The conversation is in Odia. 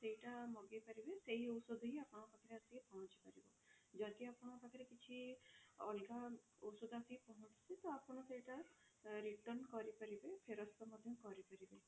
ସେଇଟା ମଗେଇ ପାରିବେ ସେଇ ଔଷଧ ହିଁ ଆପଣଙ୍କ ପାଖରେ ଆସିକି ପହଞ୍ଚି ପାରିବ ଯଦି ଆପଣଙ୍କ ପାଖରେ କିଛି ଅଲଗା ଔଷଧ ଆସିକି ପହଞ୍ଚୁଛି ତ ଆପଣ ସେଇଟା return କରିପାରିବେ ଫେରସ୍ତ ମଧ୍ୟ କରି ପାରିବେ।